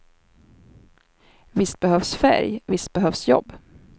Visst behövs färg, visst behövs jobb.